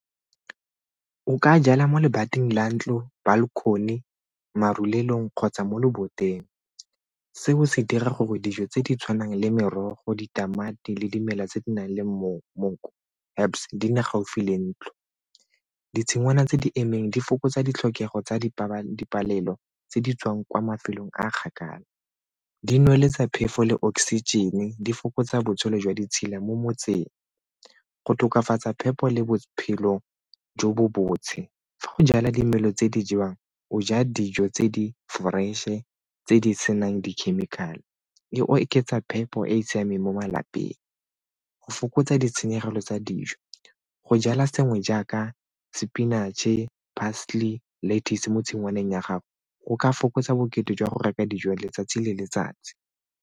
Nka jala mo lebating la ntlo, balcony, marulelong kgotsa mo loboteng. Seo se dira gore dijo tse di tshwanang le merogo ditamati le dimela tse di nang le monko herbs di nne gaufi le ntlo. Ditshingwana tse di emeng di fokotsa ditlhokego tsa dipalelo tse di tswang kwa mafelong a a kgakala, di nweletsa phefo le oxygen-e, di fokotsa botshelo jwa ditshila mo motseng go tokafatsa phepo le bophelo jo bo . Fa go jala dimelo tse di jewang, o ja dijo tse di-fresh-e tse di senang di-chemical-e, e oketsa phepo e e siameng mo malapeng. Go fokotsa ditshenyegelo tsa dijo go jala sengwe jaaka sepinatšhe, parsley le lettuce mo tshingwaneng ya gago go ka fokotsa bokete jwa go reka dijo letsatsi le letsatsi.